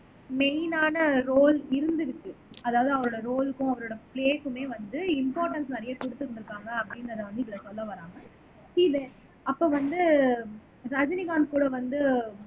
மெய்னான role இருந்திருக்கு அதாவது அவரோட ரோல்க்கும் அவரோட ப்லேஸ்க்குமே வந்து இம்பார்ட்டன்ஸ் நிறைய கொடுத்திருந்திருக்காங்க அப்படின்றதை வந்து இதுல சொல்ல வர்றாங்க இது அப்ப வந்து ரஜினிகாந்த் கூட வந்து